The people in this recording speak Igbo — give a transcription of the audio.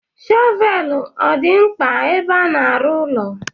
Shọvel ọ dị mkpa ebe a n'arụ ụlọ?